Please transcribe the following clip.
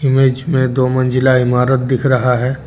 Image में दो मंजिला इमारत दिख रहा है।